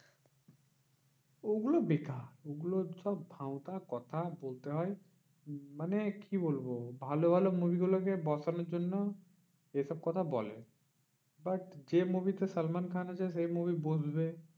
ওগুলো বেকার, ওগুলো সব ভাঁওতা কথা বলতে হয় উম মানে কি বলবো? ভালো ভালো movie গুলোকে বসানোর জন্য যেসব কথা বলে। but যে movie তে সালমান খান আছে সেই movie বসবে